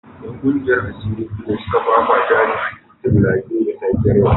‘Yan kungiyar asiri biyu da suka fafata ne a titin Ijaye da safiyar yau